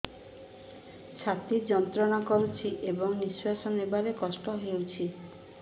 ଛାତି ଯନ୍ତ୍ରଣା କରୁଛି ଏବଂ ନିଶ୍ୱାସ ନେବାରେ କଷ୍ଟ ହେଉଛି